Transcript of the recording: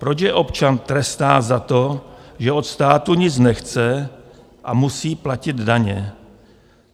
Proč je občan trestá za to, že od státu nic nechce a musí platit daně?